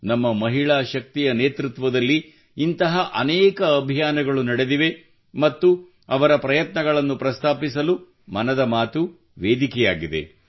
ನಮ್ಮ ಮಹಿಳಾ ಶಕ್ತಿಯ ನೇತೃತ್ವದಲ್ಲಿ ಇಂತಹ ಅನೇಕ ಅಭಿಯಾನಗಳು ನಡೆದಿವೆ ಮತ್ತು ಅವರ ಪ್ರಯತ್ನಗಳನ್ನು ಪ್ರಸ್ತಾಪಿಸಲು ಮನದ ಮಾತು ವೇದಿಕೆಯಾಗಿದೆ